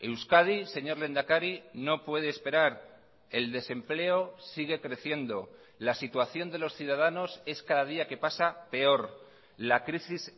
euskadi señor lehendakari no puede esperar el desempleo sigue creciendo la situación de los ciudadanos es cada día que pasa peor la crisis